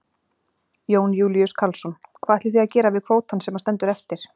Jón Júlíus Karlsson: Hvað ætlið þið að gera við kvótann sem að stendur eftir?